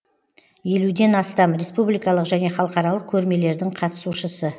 елуден астам республикалық және халықаралық көрмелердің қатысушысы